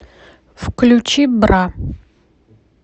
включи бра